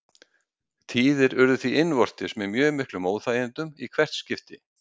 Tíðir urðu því innvortis með mjög miklum óþægindum í hvert skipti.